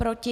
Proti?